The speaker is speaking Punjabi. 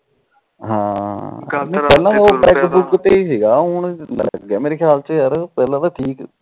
ਪਹਿਲਾ ਤਾ ਉਹ ਪੈਗ ਪੁਗ ਤੇ ਸੀਗਾ ਹੁਣ ਲੱਗ ਗਿਆ ਮੇਰੇ ਖਿਆਲ ਚ ਪਹਿਲਾ ਤਾ